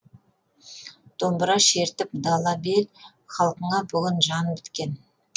домбыра шертіп дала бел халқыңа бүгін жал біткен